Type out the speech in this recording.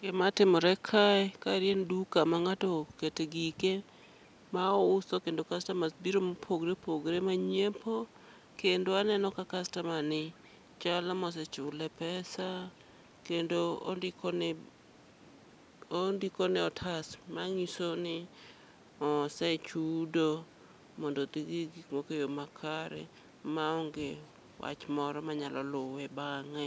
Gima timore kae, kaeri en duka ma ng'ato okete gike ma ouso kendo kastamas biro mopogre opogre ma nyiepo. Kendo aneno ka kastaman ni chalo mosechule pesa, kendo ondikone e otas, mang'iso ni osechudo mondo gidhi gi gik moko e yo makare. Ma onge wach moro ma nyalo luwe bang'e.